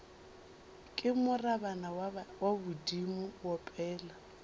re morabana wa bodimo opela